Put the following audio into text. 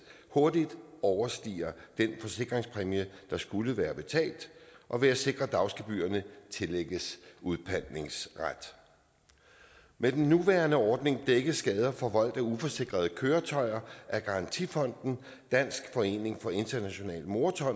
hurtigt overstiger den forsikringspræmie der skulle være betalt og ved at sikre at dagsgebyrerne tillægges udpantningsret med den nuværende ordning dækkes skader forvoldt af uforsikrede køretøjer af garantifonden dansk forening for international